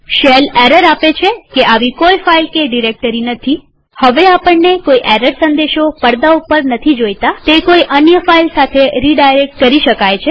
shell error આપે છે કે આવી કોઈ ફાઈલ કે ડિરેક્ટરી નથી હવે આપણને કોઈ એરર સંદેશો પડદા ઉપર નથી જોઈતાતે કોઈ અન્ય ફાઈલ સાથે રીડાયરેક્ટ કરી શકાય છે